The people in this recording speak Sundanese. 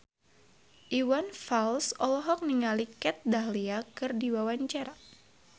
Iwan Fals olohok ningali Kat Dahlia keur diwawancara